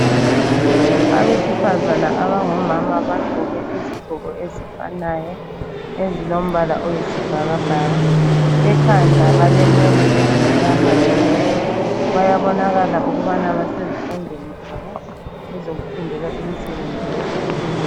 Abesifazana abangomama bagqoke izigqoko ezifanayo .Ezilombala oyisibhakabhaka ,ekhanda balenwele ezimnyama tshu .Bayabonakala ukubana basezifundweni zabo ezokufundela imsebenzi yezandla .